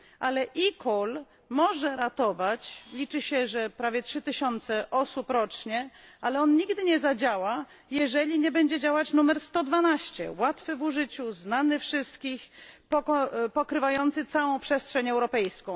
E call może ratować, liczy się, że prawie 3 tysiące osób rocznie, ale on nigdy nie zadziała, jeżeli nie będzie działać numer 112, łatwy w użyciu, znany wszystkim, pokrywający całą przestrzeń europejską.